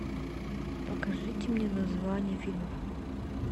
покажите мне названия фильмов